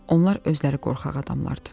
Onlar özləri qorxaq adamlardır.